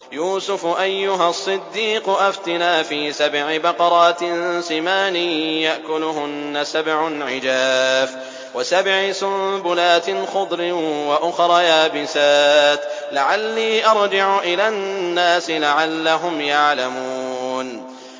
يُوسُفُ أَيُّهَا الصِّدِّيقُ أَفْتِنَا فِي سَبْعِ بَقَرَاتٍ سِمَانٍ يَأْكُلُهُنَّ سَبْعٌ عِجَافٌ وَسَبْعِ سُنبُلَاتٍ خُضْرٍ وَأُخَرَ يَابِسَاتٍ لَّعَلِّي أَرْجِعُ إِلَى النَّاسِ لَعَلَّهُمْ يَعْلَمُونَ